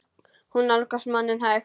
Hún nálgast manninn hægt.